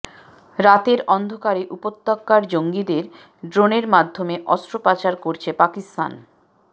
রাতের অন্ধকারে উপত্যকার জঙ্গিদের ড্রোনের মাধ্যমে অস্ত্র পাচার করছে পাকিস্তান